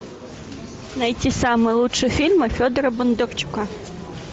найти самые лучшие фильмы федора бондарчука